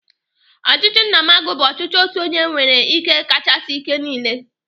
Ọchịchị nnamagụ bụ ọchịchị otu onye nwere ike kachasị ike niile.